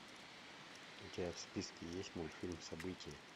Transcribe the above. у тебя в списке есть мультфильм событие